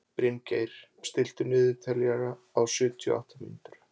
Bryngeir, stilltu niðurteljara á sjötíu og átta mínútur.